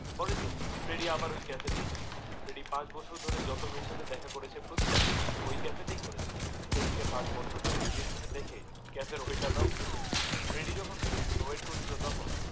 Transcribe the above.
পরের দিন ফ্রেডি আবার ওই ক্যাফেতেই যায়, ফ্রেডি পাঁচ বছর ধরে যত মেয়ের সাথেই দেখা করেছে প্রতিবারই ওই ক্যাফেতেই ঘুরেছে। ফ্রেডিএ কে পাঁচ বছর ধরে রিজেক্ট হতে দেখে ক্যাফের ওয়েটাররাও বিরক্ত, ফ্রেডিডিএ যখন মেয়েটির জন্যে ওয়েট করছিলো তখন